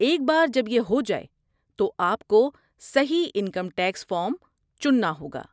ایک بار جب یہ ہو جائے، تو آپ کو صحیح انکم ٹیکس فارم چننا ہوگا۔